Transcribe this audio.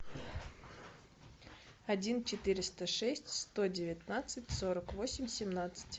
один четыреста шесть сто девятнадцать сорок восемь семнадцать